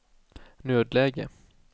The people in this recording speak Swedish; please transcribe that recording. nödläge